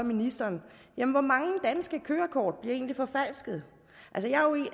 ministeren hvor mange danske kørekort bliver egentlig forfalsket